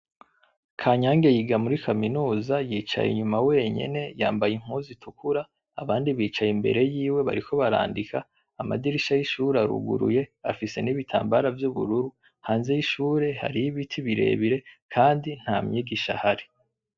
Kanyange yiga muri kaminuza yicaye inyuma wenyene, yambaye impuzu itukura abandi bicaye imbere yiwe bariko barandika amadirisha yishure aruguruye afise nibitambara vy'ubururu hanze y'ishure hariho ibiti birebire kandi nta mwigisha ahari.